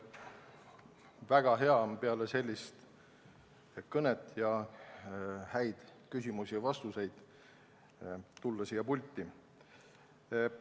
Väga hea on peale sellist kõnet ja häid küsimusi ja vastuseid siia pulti tulla.